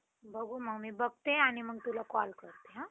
बघू मग मी बघते आणि तुला call करते हां